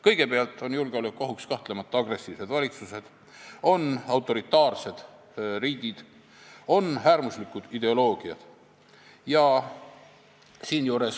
Kõigepealt on julgeolekuohuks kahtlemata agressiivsed valitsused, autoritaarsed riigid, äärmuslikud ideoloogiad.